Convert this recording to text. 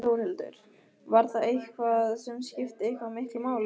Þórhildur: Var það eitthvað sem skipti eitthvað miklu máli?